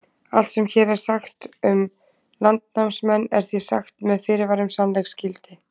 Allt sem hér er sagt um landnámsmenn er því sagt með fyrirvara um sannleiksgildi.